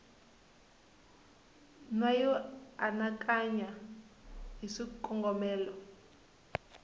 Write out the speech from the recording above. na yo anakanya hi swikongomelo